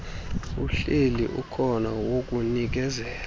uhleli ukhona wokunikeza